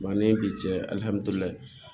Ba ni bi cɛ